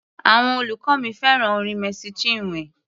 Àwọn olùkọ́ mi fẹ́ràn orin Mercy Chinwe.